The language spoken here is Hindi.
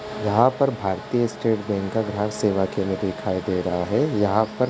यहाँ पर भारतीय स्टेट बैंक का सेवा केंद्र दिखाई दे रहा है। यहाँ पर --